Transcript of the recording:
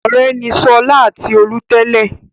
Ọ̀rẹ́ ni Ṣọlá àti Tolú tẹ́lẹ̀.